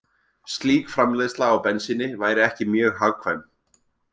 Slík framleiðsla á bensíni væri ekki mjög hagkvæm.